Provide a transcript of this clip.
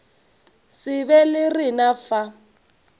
se be le rena fa